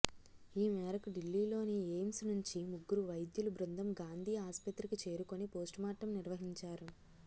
ఈ మేరకు ఢిల్లీలోని ఎయిమ్స్ నుంచి ముగ్గురు వైద్యుల బృందం గాంధీ ఆస్పత్రికి చేరుకుని పోస్టుమార్టం నిర్వహించారు